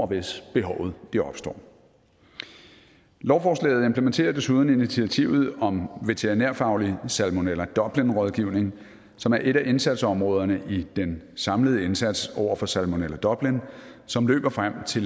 hvis behovet opstår lovforslaget implementerer desuden initiativet om veterinærfaglig salmonella dublin rådgivning som er et af indsatsområderne i den samlede indsats over for salmonella dublin som løber frem til